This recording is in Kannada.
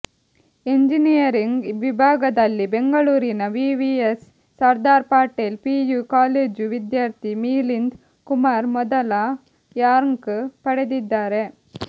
ಎಂಜಿನಿಯರಿಂಗ್ ವಿಭಾಗದಲ್ಲಿ ಬೆಂಗಳೂರಿನ VVS Sardar Patel PU college ವಿದ್ಯಾರ್ಥಿ ಮಿಲಿಂದ್ ಕುಮಾರ್ ಮೊದಲ ರ್ಯಾಂಕ್ ಪಡೆದಿದ್ದಾರೆ